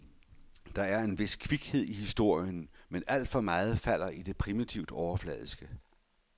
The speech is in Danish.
Der er en vis kvikhed i historien, men alt for meget falder i det primitivt overfladiske.